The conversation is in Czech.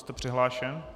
Jste přihlášen.